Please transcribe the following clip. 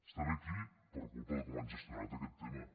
estem aquí per culpa de com han gestionat aquest tema